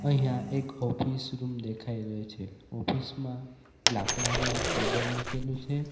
અહીંયા એક office room દેખાઈ રહ્યો છે ઓફિસ માં લાકડાનો એક ટેબલ મૂકેલું છે.